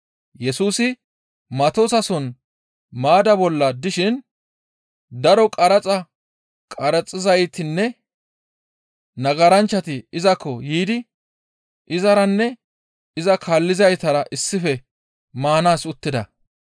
Yesusi Matoosason maadda bolla dishin daro qaraxa qaraxizaytinne nagaranchchati izakko yiidi izaranne iza kaallizaytara issife maanaas uttida.